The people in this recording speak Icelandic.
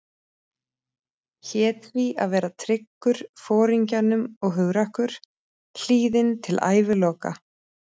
Hét því að vera tryggur Foringjanum og hugrakkur, hlýðinn til æviloka.